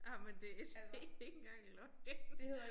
Ej men det ikke engang løgn